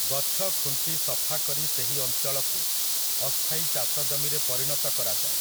ଗଛ ଖୁଣ୍ଟି ସଫା କରି ସେହି ଅଞ୍ଚଳକୁ, ଅସ୍ଥାୟୀ ଚାଷଜମିରେ ପରିଣତ କରାଯାଏ ।